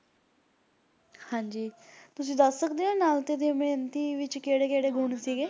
ਹਾਂ ਜੀ ਤੁਸੀਂ ਦੱਸ ਸਕਦੇ ਹੋ ਨਲ ਤੇ ਦਮਯੰਤੀ ਦੇ ਵਿਚ ਕਿਹੜੇ ਕਿਹੜੇ ਗੁਣ ਸੀਗੇ